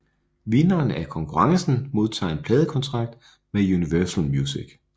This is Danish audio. Vinderen af konkurrencen modtager en pladekontrakt med Universal Music